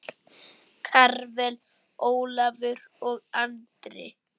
Karvel, Ólafur og Andri.